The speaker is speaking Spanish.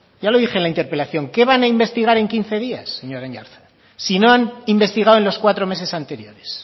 ya lo dije en la interpelación qué van a investigar en quince días señor aiartza si no han investigado en los cuatro meses anteriores